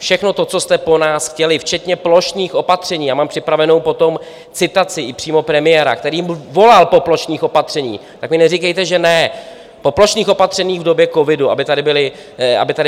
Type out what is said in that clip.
Všechno to, co jste po nás chtěli, včetně plošných opatření - já mám připravenou potom citaci i přímo premiéra, který volal po plošných opatřeních, tak mi neříkejte, že ne, po plošných opatřeních v době covidu, aby tady byla zavedena.